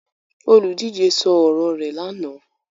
Olùdíje sọ ọ̀rọ̀ rẹ̀ lánàá.